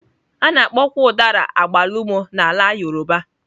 A na-akpọkwa Udara agbalumo na ala yoruba.